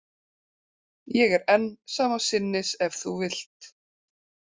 Ég er enn sama sinnis ef þú vilt.